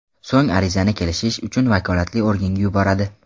So‘ng arizani kelishish uchun vakolatli organga yuboradi.